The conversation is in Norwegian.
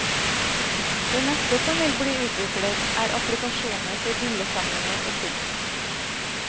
Det neste som vil bli utviklet er applikasjoner for bildesamlinger og kunst.